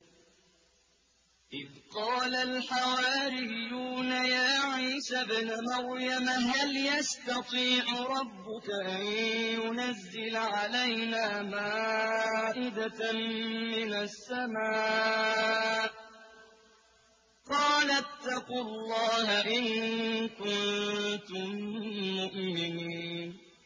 إِذْ قَالَ الْحَوَارِيُّونَ يَا عِيسَى ابْنَ مَرْيَمَ هَلْ يَسْتَطِيعُ رَبُّكَ أَن يُنَزِّلَ عَلَيْنَا مَائِدَةً مِّنَ السَّمَاءِ ۖ قَالَ اتَّقُوا اللَّهَ إِن كُنتُم مُّؤْمِنِينَ